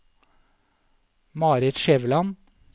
Marit Skjæveland